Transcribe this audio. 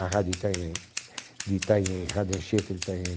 A Rádio Itanhaém, de Itanhaém, Rádio Anchieta de Itanhaém